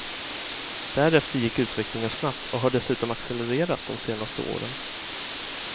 Därefter gick utvecklingen snabbt, och har dessutom accelererat de senaste åren.